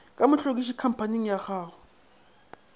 ka mohlwekiši khamphaning ya go